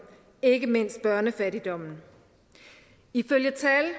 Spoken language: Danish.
og ikke mindst børnefattigdommen ifølge tal